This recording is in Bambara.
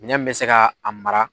Minɛn min bɛ se ka a mara.